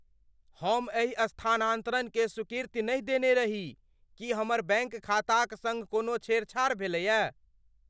हम एहि स्थानांतरणकेँ स्वीकृति नहि देने रही। की हमर बैङ्क खाताक सङ्ग कोनो छेड़छाड़ भेलय?